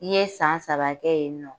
N ɲe san saba kɛ ye nɔ.